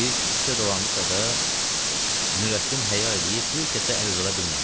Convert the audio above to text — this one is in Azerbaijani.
Bir-iki küçə dolandısa da, Nurəddin həya eləyib bir kəsə əl uzada bilmədi.